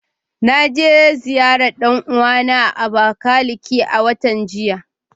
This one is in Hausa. Na je ziyarar dan uwana a Abakiliki a watan jiya.